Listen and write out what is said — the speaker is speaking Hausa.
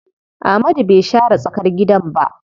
Amadu bai share tsakar gidan ba.